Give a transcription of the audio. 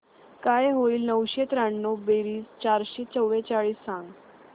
काय होईल नऊशे त्र्याण्णव बेरीज चारशे चव्वेचाळीस सांग